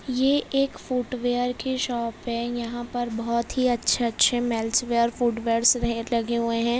ये एक फूटवेर की शॉप है यहाँ पर बहुत ही अच्छे-अच्छे मेन्सवेर फूटवेर्स ढेर लगे हुए है।